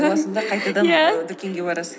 жуасын да қайтадан иә дүкенге барасыз